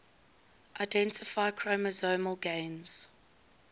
identify chromosomal gains